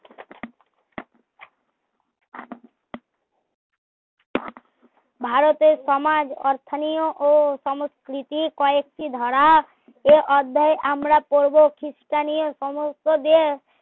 ভারতের সমাজ অর্থনীয় ও সংস্কৃতি কয়েকটি ধারা এই অধ্যায়ে আমরা পড়বো খ্রিস্টানীও সমস্ত